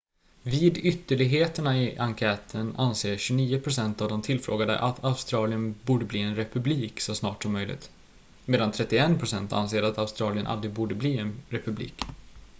vid ytterligheterna i enkäten anser 29 procent av de tillfrågade att australien borde bli en republik så snart som möjligt medan 31 procent anser att australien aldrig borde bli en republik